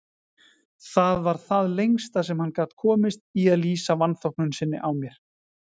Það var það lengsta sem hann gat komist í að lýsa vanþóknun sinni á mér.